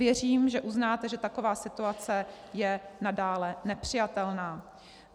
Věřím, že uznáte, že taková situace je nadále nepřijatelná.